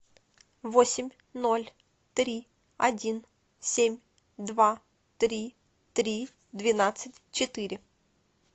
восемь ноль три один семь два три три двенадцать четыре